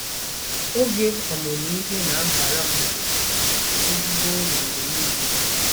Oge ọmụmụ ihe na-abara m ezigbo uru mgbe niile.